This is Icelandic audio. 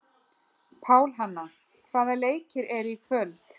Pálhanna, hvaða leikir eru í kvöld?